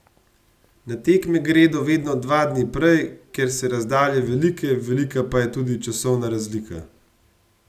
Na tekme gredo vedno dva dni prej, ker so razdalje velike, velika pa je tudi časovna razlika.